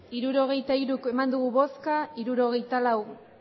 hirurogeita hiru eman dugu bozka hirurogeita lau